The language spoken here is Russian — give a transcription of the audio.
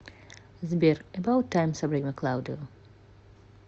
сбер эбаут тайм сабрина клаудио